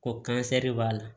Ko kansɛri b'a la